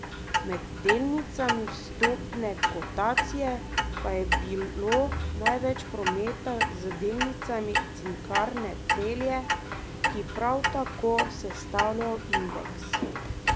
Med delnicami vstopne kotacije pa je bilo največ prometa z delnicami Cinkarne Celje, ki prav tako sestavljajo indeks.